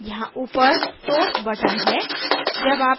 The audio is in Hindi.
यहाँ ऊपर source button है